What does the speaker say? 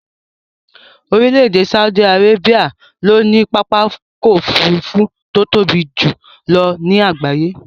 Orílè èdè Saudi Arabia ló ní pápákò òfurufú to tóbi jùlo ní àgbáyé